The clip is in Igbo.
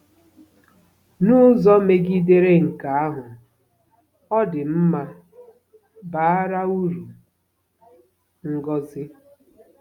N'ụzọ megidere nke ahụ, ọ dị mma, bara uru, ngọzi.